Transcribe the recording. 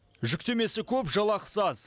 жүктемесі көп жалақысы аз